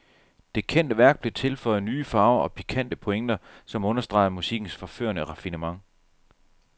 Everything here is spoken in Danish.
Det kendte værk blev tilføjet nye farver og pikante pointer, som understregede musikkens forførende raffinement.